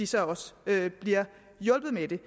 så også bliver hjulpet med det